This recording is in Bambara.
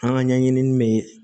An ka ɲɛɲinini bɛ